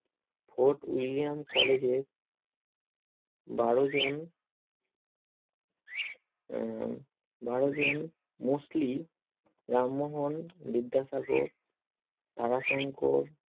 Fort william college এ বারোজন উম বারোজন মোসলি রামমোহন বিদ্যাসাগর তারাশঙ্কর